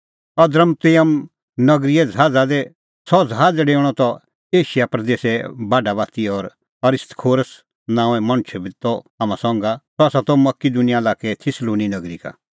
अद्रमुतियम नगरीए ज़हाज़ा दी सह ज़हाज़ डेऊणअ त एशिया प्रदेसे बाढा बाती और अरिस्तर्खुस नांओं मणछ बी त हाम्हां संघा सह त मकिदुनिया लाक्कै थिस्सलुनी नगरी का